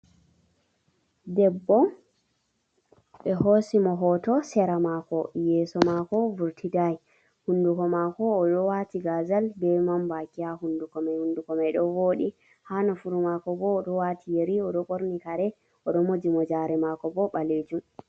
Debbo ɓe hoosi mo hoto sera maako yesso mako vurtidayi, hunduko mako oɗo waati gazal be man baki ha hunduko man hunduko mako man ɗo woɗi, ha nofuru mako bo oɗo waati yeri oɗo ɓorni karee oɗo moji mojare mako bo ɓaleejum.